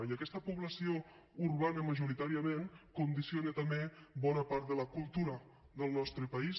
i aquesta població urbana majoritàriament condiciona també bona part de la cultura del nostre país